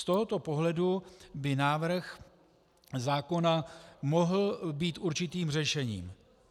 Z tohoto pohledu by návrh zákona mohl být určitým řešením.